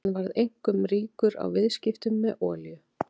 Hann varð einkum ríkur á viðskiptum með olíu.